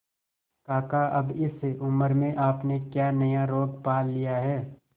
काका अब इस उम्र में आपने क्या नया रोग पाल लिया है